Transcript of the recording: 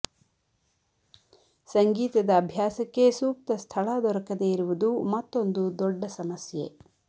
ಸಂಗೀತದ ಅಭ್ಯಾಸಕ್ಕೆ ಸೂಕ್ತ ಸ್ಥಳ ದೊರಕದೆ ಇರುವುದು ಮತ್ತೊಂದು ದೊಡ್ಡ ಸಮಸ್ಯೆ